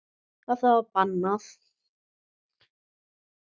Og það var bannað.